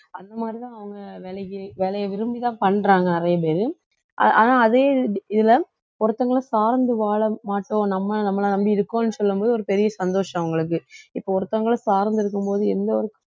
அந்த மாதிரிதான் அவங்க வேலைக்கு வேலையை விரும்பிதான் பண்றாங்க நிறைய பேரு ஆனா அதே இது~ இதுல ஒருத்தங்களை சார்ந்து வாழ மாட்டோம் நம்ம நம்மளை நம்பி இருக்கோம்ன்னு சொல்லும் போது ஒரு பெரிய சந்தோஷம் அவங்களுக்கு இப்போ ஒருத்தவங்கள சார்ந்து இருக்கும்போது எந்த ஒரு